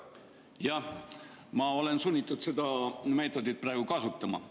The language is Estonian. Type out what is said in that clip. Jah, ma olen sunnitud seda meetodit kasutama.